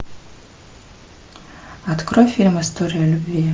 открой фильм история любви